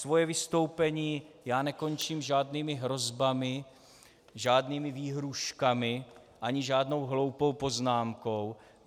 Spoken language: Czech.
Svoje vystoupení ale nekončím žádnými hrozbami, žádnými výhrůžkami ani žádnou hloupou poznámkou.